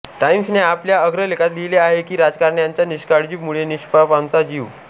Times ने आपल्या अग्रलेखात लिहिले आहे की राजकारण्यांच्या निष्काळजी मुळे निष्पापांचा जीव